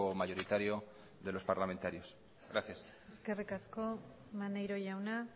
mayoritario de los parlamentarios gracias eskerrik asko maneiro jauna